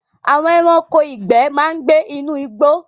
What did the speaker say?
Àwọn ẹranko ìgbẹ́ ma ń gbé inú igbó